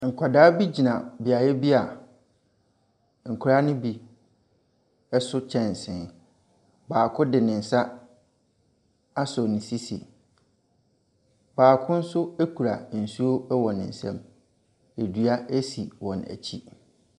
Nkwadaa bi gyina beaeɛ bi a nkwaraa no bi so kyɛnsee. Baako de ne nsa asɔ ne sisi. Baako nso kura nsuo wɔ ne nsam. Edua esi wɔn akyi.